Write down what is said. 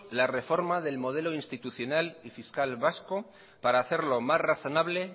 la reforma del modelo institucional y fiscal vasco para hacerlo más razonable